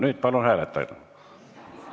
Nüüd palun hääletage!